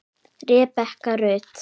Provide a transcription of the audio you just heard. Rebekka Rut.